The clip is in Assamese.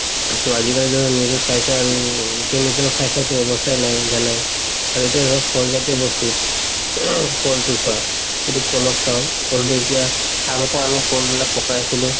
ত আজিকালিতো নিজৰ চাই চাই আৰু chemical খাই খাইতো আৰু অৱস্থাই নাই জানাই আৰু এতিয়া ধৰক ফল জাতিয় বস্তুত কলতো চোৱা যদি কল চাও কলতো এতিয়া আগতে আমি কল বিলাক পকাইছিলো